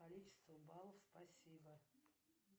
количество баллов спасибо